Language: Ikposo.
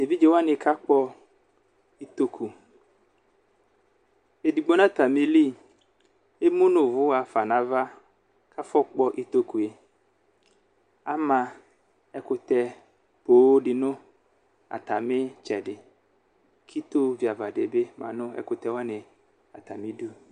Evidze wani kakpɔ ʋtokʋ edigbo nʋ ata mili emʋnʋ ɔvʋ xafa nʋ ava kʋ afɔkpɔ ʋtokʋe ama ɛkʋtɛ poo dinʋ atami itsɛdi kʋ iti viava dibi manʋ ɛkvtɔ wani atami idʋ